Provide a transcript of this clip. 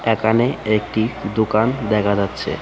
এখানে একটি দোকান দেখা যাচ্ছে .